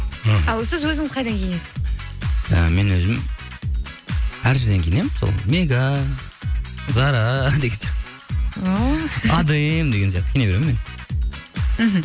сіз өзіңіз қайдан киінесіз і мен өзім әр жерден киінемін сол мега зара деген сияқты адем деген сияқты киіне беремін мен мхм